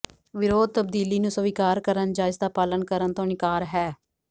ਵਿਰੋਧ ਤਬਦੀਲੀ ਨੂੰ ਸਵੀਕਾਰ ਕਰਨ ਜਾਂ ਇਸਦਾ ਪਾਲਣ ਕਰਨ ਤੋਂ ਇਨਕਾਰ ਹੈ